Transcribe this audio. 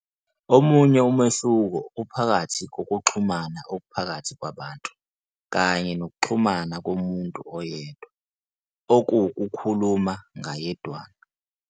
Omunye umehluko uphakathi kokuxhumana okuphakathi kwabantu, kanye nokuxhumana komuntu oyedwa, okuwukukhuluma ngayedwana.